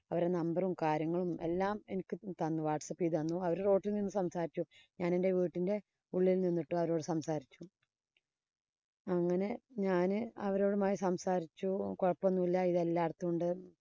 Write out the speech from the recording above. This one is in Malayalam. അവരു number ഉം, കാര്യങ്ങളും എല്ലാം എനിക്ക് തന്നു വാട്സ്അപ്പ് ചെയ്തു തന്നു. അവര് road ഇല്‍ നിന്ന് സംസാരിച്ചു. ഞാനെന്‍റെ വീട്ടിന്‍റെ ഉയർനല്‍ നിന്നിട്ടും അവരോടു സംസാരിച്ചു. അങ്ങനെ ഞാന് അവരോടുമായി സംസാരിച്ചു. കൊഴപ്പമൊന്നുമില്ല. ഇത് എല്ലാടിത്തും ഉണ്ട്.